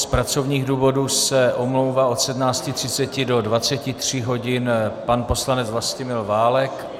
Z pracovních důvodů se omlouvá od 17.30 do 23 hodin pan poslanec Vlastimil Válek.